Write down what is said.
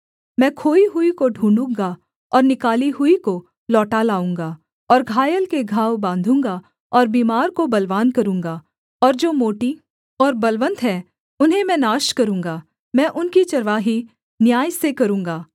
मैं खोई हुई को ढूँढ़ूगा और निकाली हुई को लौटा लाऊँगा और घायल के घाव बाँधूँगा और बीमार को बलवान करूँगा और जो मोटी और बलवन्त हैं उन्हें मैं नाश करूँगा मैं उनकी चरवाही न्याय से करूँगा